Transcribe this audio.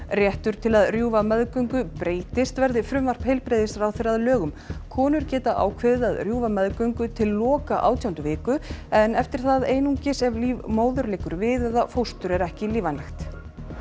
réttur til að rjúfa meðgöngu breytist verði frumvarp heilbrigðisráðherra að lögum konur geta ákveðið að rjúfa meðgöngu til loka átjándu viku en eftir það einungis ef líf móður liggur við eða fóstur er ekki lífvænlegt